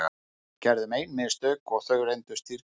Við gerðum ein mistök og þau reyndust dýrkeypt.